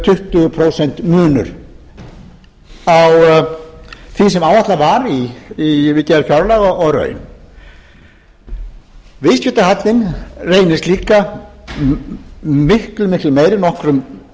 tuttugu prósent munur á því sem áætlað var við gerð fjárlaga og raun viðskiptahallann reynist líka miklu